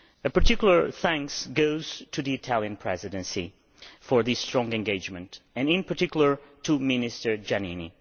Particular thanks go to the Italian Presidency for its strong engagement, and, in particular, to Minister Giannini.